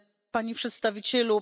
Panie Przedstawicielu!